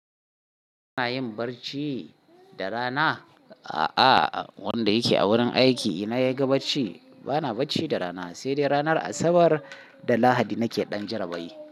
Kana yin barci da rana? A'a, wanda yake a wurin aiki ina yaga bacci, bana bacci da rana sai dai ranar Asabar da Lahadi nake ɗan jarabai.